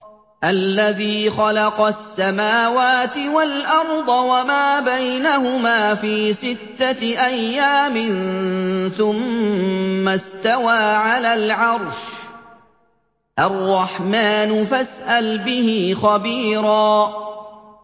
الَّذِي خَلَقَ السَّمَاوَاتِ وَالْأَرْضَ وَمَا بَيْنَهُمَا فِي سِتَّةِ أَيَّامٍ ثُمَّ اسْتَوَىٰ عَلَى الْعَرْشِ ۚ الرَّحْمَٰنُ فَاسْأَلْ بِهِ خَبِيرًا